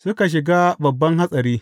Suka shiga babban hatsari.